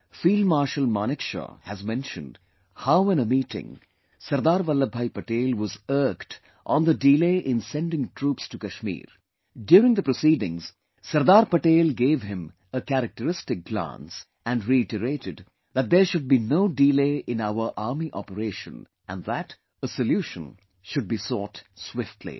Field Marshal Manekshaw has mentioned how in a meeting, SardarVallabhbhai Patel was irked on the delay in sending troops to Kashmir During the proceedings, Sardar Patel gave him a characteristic glance and reiterated that there should be no delay in our Army operation and that a solution should be sought swiftly